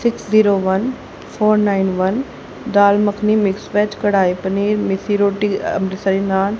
six zero one four nine one dal makhani mix veg kadai paneer methi roti मसाले नान--